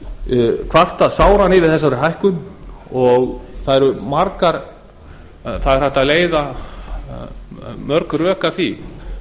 hagsmunaaðilar kvarta sáran yfir þessari hækkun og það er hægt að leiða mörg rök að því